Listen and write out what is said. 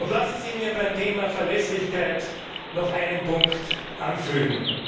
Lassen Sie mich beim Thema Verlässlichkeit noch einen Punkt anfügen.